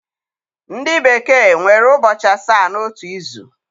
Ndị bekee nwere ụbọchị asaa n'otu izu.